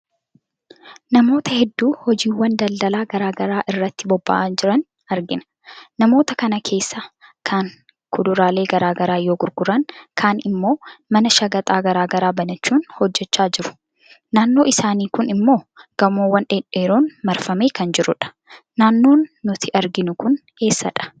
Namoota hedduu hojiiwwan daldalaa garaagaraa irratti bobba'anii jiran argina. Namoota kana keessaa kaan kuduraalee garaagaraa yoo gurguran kaan immoo mana shaqaxa garaagaraa banachuun hojechaa jiruu. Naannoon isaanii kun immoo gamoowwan dhedheeroon marfamee kan jiru dha. Naannoon nuti arginu kun eessa dha ?